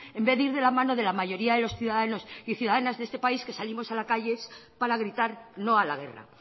en vez de ir de la mano de la mayoría de los ciudadanos y ciudadanas de este país que salimos a la calle para gritar no a la guerra